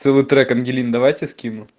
целый трек ангелины давай тебе скину